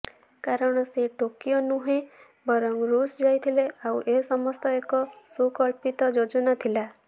କାରଣ ସେ ଟୋକିଓ ନୁହେଁ ବରଂ ଋଷ ଯାଇଥିଲେ ଆଉ ଏସମସ୍ତ ଏକ ସୁକଳ୍ପିତ ଯୋଜନା ଥିଲା